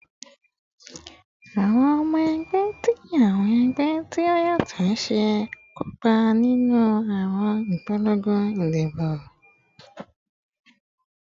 Awọn ọmọ ẹgbẹ ti awọn ẹgbẹ ti o yatọ si kopa ninu awọn ipolongo idibo